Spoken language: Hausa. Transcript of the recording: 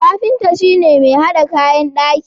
Kafinta shi ne mai hada kayan daki.